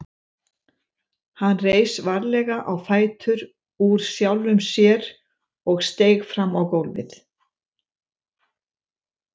Hann reis varlega á fætur úr sjálfum sér og steig fram á gólfið.